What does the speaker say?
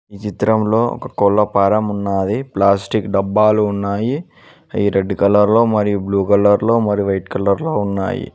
ఈ చిత్రంలో ఒక కోళ్ల ఫారం ఉన్నాది ప్లాస్టిక్ డబ్బాలు ఉన్నాయి అయీ రెడ్ కలర్ లో మరియు బ్లూ కలర్ లో మరియు వైట్ కలర్ లో ఉన్నాయి.